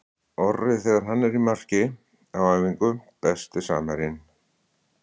Orri þegar hann er í marki á æfingu Besti samherjinn?